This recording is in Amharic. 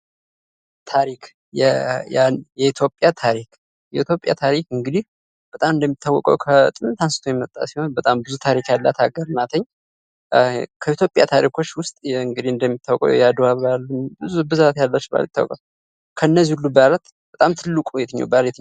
ታሪክ የኢትዮጵያ ታሪክ የኢትዮጵያ ታሪክ እንግዲህ በጣም እንደሚታወቀው ከጥንት አንስቶ የመጣ ሲሆን በጣም ብዙ ታሪክ ያላት ሃገር ናት። ከኢትዮጵያ ታሪኮች ዉስጥ እንግዲህ እንደሚታወቀው የአደዋ በአል ብዛት ያላቸው በአላት ይታወቃሉ ከነዚህ ሁሉ በአላት በጣም ትልቁ በአል የትኛው ነው?